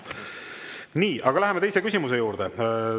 Nii, aga läheme teise küsimuse juurde.